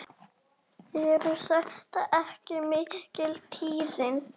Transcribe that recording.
Eru þetta ekki mikil tíðindi?